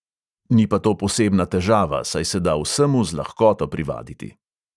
Ni pa to posebna težava, saj se da vsemu z lahkoto privaditi.